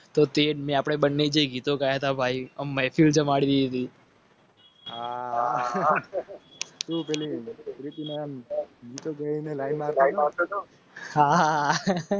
તો તે આપણે બંને જઈએ ગીતો ગાતા ભાઈ